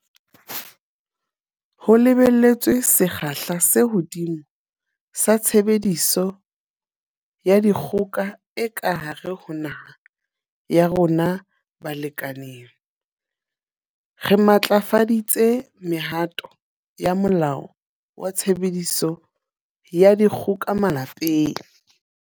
Ho lebelletswe sekgahla se hodimo sa tshebediso ya dikgoka e ka hare ho naha ya rona balekaneng, re matlafaditse mehato ya Molao wa Tshebediso ya Dikgoka Malapeng.